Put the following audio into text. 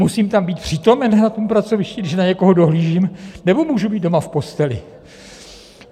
Musím tam být přítomen na tom pracovišti, když na někoho dohlížím, nebo můžu být doma v posteli?